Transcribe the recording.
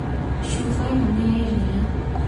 Cuba ĩno nĩ ya iria